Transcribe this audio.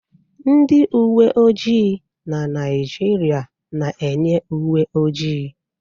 Ndị uwe ojii na Naịjirịa na-eyi uwe ojii.